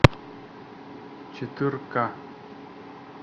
четыре ка